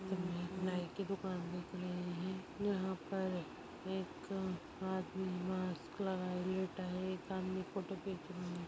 नाइ के दुकान दिख रही है। यहा पर एक आदमी मास्क लगाए लेटा है सामने एक फोटो खिच रहा है।